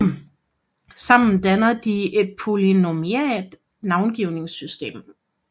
Sammen dannede de et polynomialt navngivningssystem